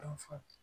Dɔn fɔlɔ